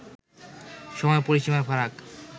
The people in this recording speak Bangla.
সময়-পরিসীমার ফারাক